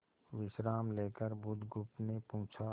विश्राम लेकर बुधगुप्त ने पूछा